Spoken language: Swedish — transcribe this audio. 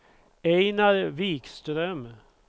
Einar Vikström